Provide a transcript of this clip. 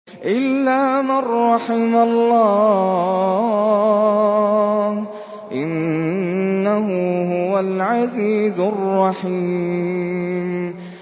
إِلَّا مَن رَّحِمَ اللَّهُ ۚ إِنَّهُ هُوَ الْعَزِيزُ الرَّحِيمُ